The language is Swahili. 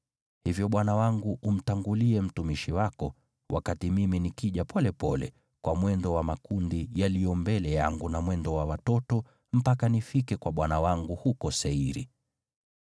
Hivyo bwana wangu umtangulie mtumishi wako, wakati mimi nikija polepole kwa mwendo wa makundi yaliyo mbele yangu na mwendo wa watoto, mpaka nifike kwa bwana wangu huko Seiri.”